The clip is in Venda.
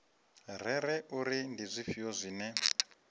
rere uri ndi zwifhio zwine